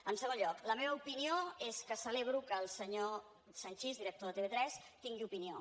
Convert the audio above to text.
en segon lloc la meva opinió és que celebro que el senyor sanchis director de tv3 tingui opinió